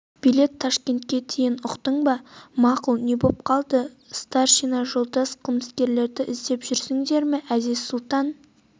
билет ташкентке дейін ұқтың ба мақұл не боп қалды старшина жолдас қылмыскерлерді іздеп жүрсіңдер ме әзиз-сұлтан